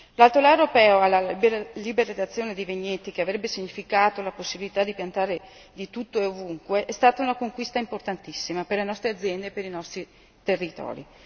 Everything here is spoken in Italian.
L'altolà europeo alla liberalizzazione dei vigneti, che avrebbe significato la possibilità di piantare di tutto e ovunque, è stato una conquista importantissima per le nostre aziende e per i nostri territori.